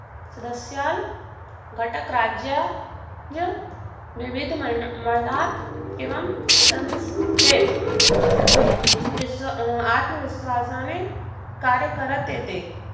सदस्यांत घटकराज्य विविध मंडळात किंवा सभेत आत्मविश्वासाने कार्य करत येते.